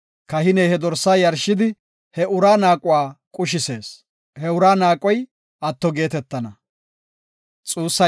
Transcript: Kahiney he dorsaa yarshidi he uraa naaquwa qushisees; he uraa naaqoy atto geetetana.